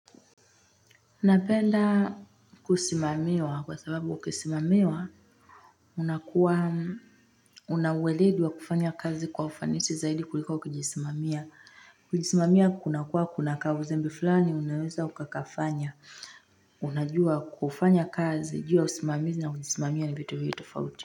Na penda kusimamiwa kwa sababu ukisimamiwa, unakuwa, unaweledi kufanya kazi kwa ufanisi zaidi kuliko ukijisimamia. Kujisimamia kuna kuwa kuna kauzembe fulani, unaweza ukakafanya. Unajua kufanya kazi, jua usimamizi na kujisimamia ni vitu viwili tofauti.